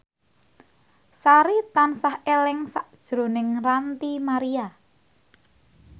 Sari tansah eling sakjroning Ranty Maria